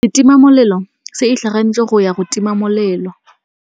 Setima molelô se itlhaganêtse go ya go tima molelô.